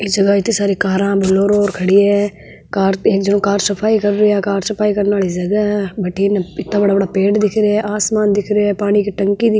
ये जगह इत्ते सारे कारा बुलेरो खड़ी है कार एक जन कार सफाई कर रिया है कार सफाई करने वाली जगह है वाथिन इत्ता बड़ा बड़ा पेड़ दिख रहे है आसमान दिख रहे है पानी की टंकी दि --